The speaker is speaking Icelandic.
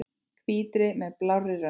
Hvítri með blárri rönd.